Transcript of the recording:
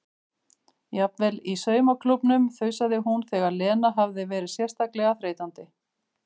Jafnvel í saumaklúbbnum þusaði hún þegar Lena hafði verið sérstaklega þreytandi.